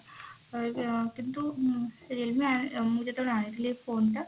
ଅ କିନ୍ତୁ realme ମୁଁ ଯେତେବେଳେ ଆଣିଥିଲି phone ଟା